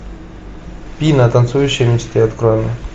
пина танцующие мечты открой мне